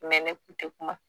Mɛ ne kun te kuma